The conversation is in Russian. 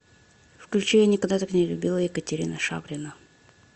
включи я никогда так не любила екатерина шаврина